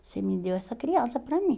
Você me deu essa criança para mim.